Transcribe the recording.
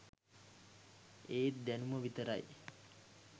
ඒත් දැනුම විතරයි